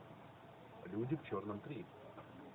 люди в черном три